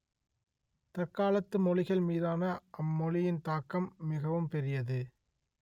தற்காலத்து மொழிகள் மீதான அம் மொழியின் தாக்கம் மிகவும் பெரியது